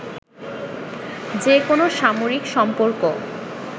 যেকোনো সামরিক সম্পর্ক